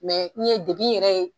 min ye degun yɛrɛ ye